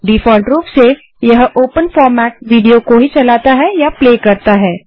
default रूप से यह ओपन फॉर्मेट विडियो को ही चलाता है